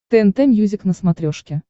тнт мьюзик на смотрешке